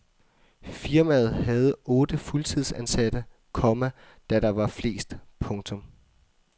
Firmaet havde otte fuldtidsansatte, komma da der var flest. punktum